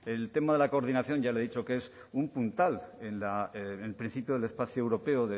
el tema de la coordinación ya le he dicho que es un puntal en el principio del espacio europeo